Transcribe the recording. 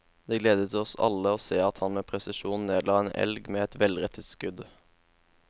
Det gledet oss alle å se at han med presisjon nedla en elg med et velrettet skudd.